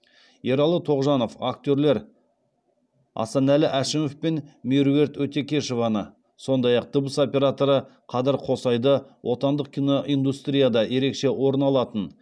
ералы тоғжанов актерлер асанәлі әшімов пен меруерт өтекешеваны сондай ақ дыбыс операторы қадыр қосайды отандық киноиндустрияда ерекше орын алатын